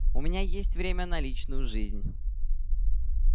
у меня есть время на личную жизнь